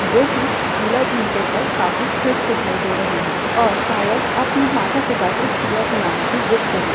जो कि झूला झूलते वक्त काफी खुश दिखाई दे रहे है और शायद अपने माता पिता से झूला झूलने की जिद कर रहे हैं।